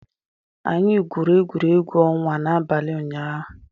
Anyị gwuru egwuregwu ọnwa n'abalị ụnyaahụ